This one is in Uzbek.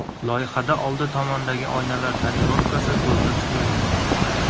Loyihada oldi tomondagi oynalar tonirovkasi ko‘zda tutilmagan.